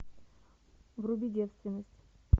вруби девственность